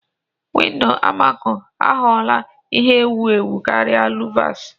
Windọ amako aghọla ihe ewu ewu karịa luvas.